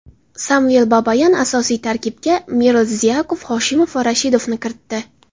Samvel Babayan asosiy tarkibga Merzlyakov, Hoshimov va Rashidovni kiritdi.